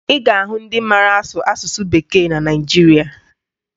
Ị ga-ahụ ndị mara asụ asụsụ Bekee na Naịjirịa